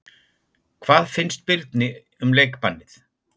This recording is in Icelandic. Hvað finnst Birni um leikbannið?